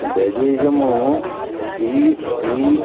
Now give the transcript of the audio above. भैजी याम्मो सी बी ।